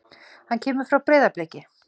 Hann kemur frá Breiðabliki.